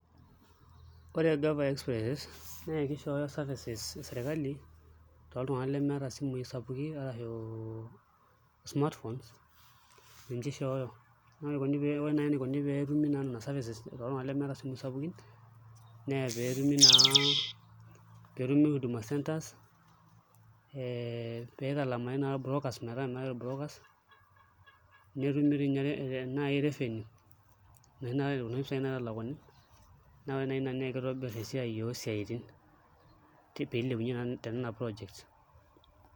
Ore Gava express naa kishooyo services e sirkali toltung'anak lemeeta smart phones o lemeeta isimui sapukin arashu smart phones ninche ishooyo ore naai enikoni pee etumu nena services toltung'anak lemeeta isimuui sapukin pee etumi Huduma Centre ee piitalamari naa irbrokers metaa meetai irbrokers netumi toi ninye revenue kuna pisaai naitalakuni naa ore naai ina naa kitobirr esiai oosiaitin tina projects.